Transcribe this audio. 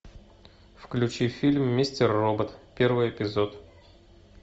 включи фильм мистер робот первый эпизод